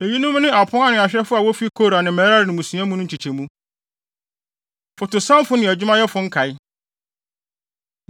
Eyinom ne apon ano ahwɛfo a wofi Kora ne Merari mmusua mu no nkyekyɛmu. Fotosanfo Ne Adwumayɛfo Nkae